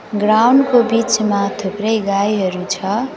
Ground को बीचमा थुप्रै गाईहरू छ।